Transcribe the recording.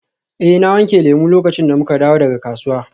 Eh na wanke lemu lokacin da muka dawo daga kasuwa.